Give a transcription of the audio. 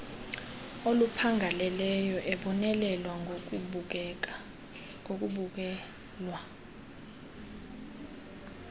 oluphangaleleyo ebonelela ngokubukelwa